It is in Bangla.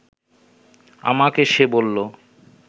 আমাকে সে বলল